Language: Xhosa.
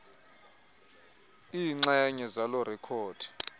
iinxenye zaloo rekhodi